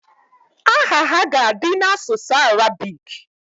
Aha ha ga-adị n'asụsụ Arabik